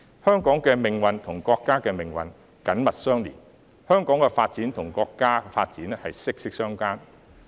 香港的命運與國家的命運緊密相連，香港的發展與國家的發展息息相關。